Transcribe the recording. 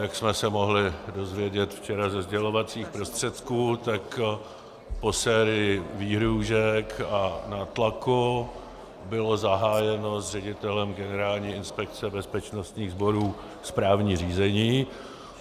Jak jsme se mohli dozvědět včera ze sdělovacích prostředků, tak po sérii výhrůžek a nátlaku bylo zahájeno s ředitelem Generální inspekce bezpečnostních sborů správní řízení.